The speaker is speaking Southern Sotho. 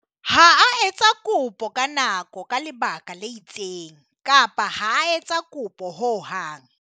Ha a etsa kopo ka nako ka lebaka le itseng kapa ha a etsa kopo ho hang.